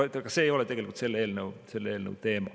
Aga see ei ole tegelikult selle eelnõu teema.